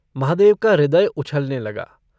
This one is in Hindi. महादेव का हृदय उछलने लगा।